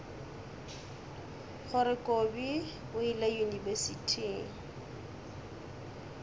gore kobi o ile yunibesithing